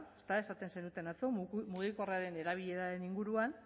ezta esaten zenuten atzo mugikorraren erabileraren inguruan